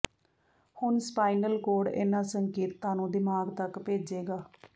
ਹੁਣ spinal cord ਇਹਨਾਂ ਸੰਕੇਤਾਂ ਨੂੰ ਦਿਮਾਗ ਤੱਕ ਭੇਜੇਗਾ